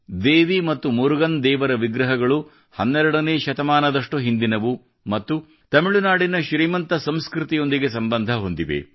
ದೇವಿ ಮತ್ತು ಮುರುಗನ್ ದೇವರ ವಿಗ್ರಹಗಳು 12 ನೇ ಶತಮಾನದಷ್ಟು ಹಿಂದಿನವು ಮತ್ತು ತಮಿಳುನಾಡಿನ ಶ್ರೀಮಂತ ಸಂಸ್ಕೃತಿಯೊಂದಿಗೆ ಸಂಬಂಧ ಹೊಂದಿವೆ